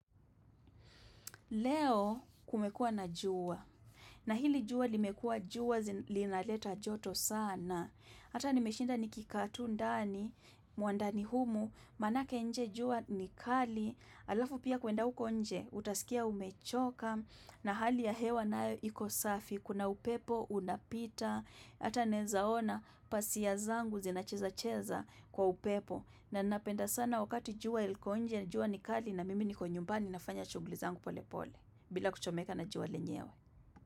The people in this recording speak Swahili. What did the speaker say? Leo kumekua na jua. Na hili jua limekua jua linaleta joto sana. Hata nimeshinda nikikaa tu ndani, mwandani humu, manake nje jua nikali, alafu pia kuenda huko nje, utasikia umechoka na hali ya hewa nayo ikosafi, kuna upepo unapita, hata naweza ona pazia zangu zinacheza cheza kwa upepo. Na napenda sana wakati jua ilko nje na juwa ni kali na mimi ni kwenyumbani na fanya shughli zangu pole pole bila kuchomeka na jua lenyewe.